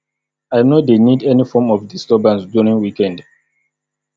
i no dey need any form of disturbance during weekend